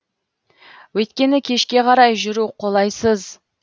өйткені кешке қарай жүру қолайсыз